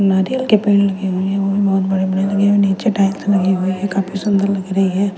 नारियल के पेड़ लगे हुए हैं वो भी बहुत बड़े बड़े लगे हुए हैं नीचे टाइल्स लगी हुई है काफी सुंदर लग रही है ।